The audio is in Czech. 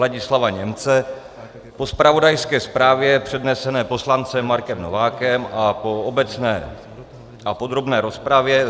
Ladislava Němce, po zpravodajské zprávě přednesené poslancem Markem Novákem a po obecné a podrobné rozpravě